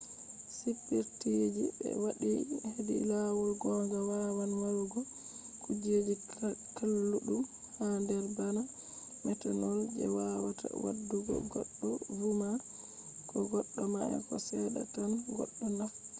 spiritji je be wadai hedi lawol gonga wawan marugo kujeji kalludum ha der bana methanol je wawata wadugo goddo vuma ko goddo maya ko sedda tan goddo naftiri